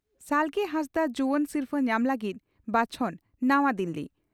ᱥᱟᱞᱜᱮ ᱦᱟᱸᱥᱫᱟᱜ ᱡᱩᱣᱟᱹᱱ ᱥᱤᱨᱯᱷᱟᱹ ᱧᱟᱢ ᱞᱟᱹᱜᱤᱫ ᱵᱟᱪᱷᱚᱱ ᱱᱟᱣᱟ ᱫᱤᱞᱞᱤ